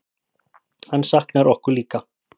Hann saknar okkur líka.